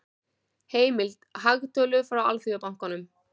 Heimild: Hagtölur frá Alþjóðabankanum.